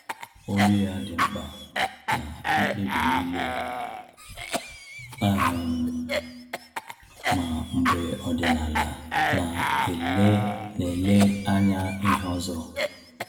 Olu ya dị mkpa na mkpebi niile, um ma mgbe ọdịnala na-ele na-ele anya ihe ọzọ